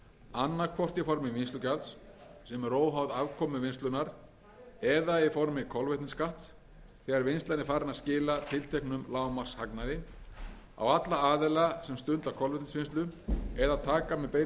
annaðhvort í formi vinnslugjalds sem er óháð afkomu vinnslunnar eða í formi kolvetnisskatts þegar vinnslan er farin að skila tilteknum lágmarkshagnaði á alla aðila sem stunda kolvetnisvinnslu eða taka með beinum hætti þátt í öflun